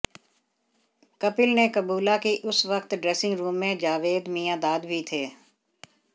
कपिल ने कबूला कि उस वक्त ड्रेसिंग रूम में जावेद मियांदाद भी थे